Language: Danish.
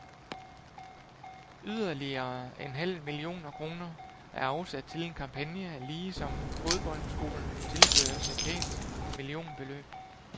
Yderligere en halv millioner kroner er afsat til en kampagne, ligesom fodboldskolen tilføres et pænt millionbeløb.